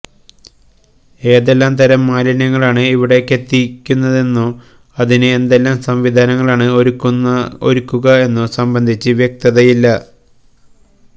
ഏതെല്ലാംതരം മാലിന്യങ്ങളാണ് ഇവിടേക്കെത്തിക്കുന്നതെന്നോ അതിന് എന്തെല്ലാം സംവിധാനങ്ങളാണ് ഒരുക്കുക എന്നതോ സംബന്ധിച്ച് വ്യക്തതയില്ല